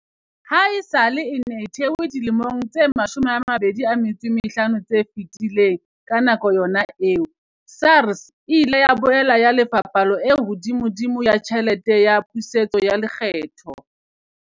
Ha esale e ne e thehwe dilemong tse 25 tse fetileng, ka yona nako eo, SARS e ile ya boela e lefa palo e hodimodimo ya tjhelete ya pusetso ya lekgetho.